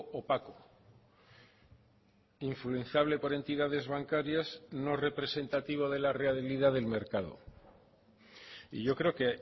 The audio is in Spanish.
opaco influenciable por entidades bancarias no representativo de la realidad del mercado y yo creo que